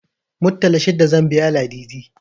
Muttala shida zan biya Ladidi.